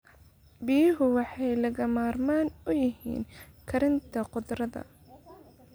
Biyuhu waxay lagama maarmaan u yihiin koritaanka khudradda.